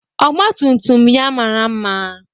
Ọgbatumtum ya mara maa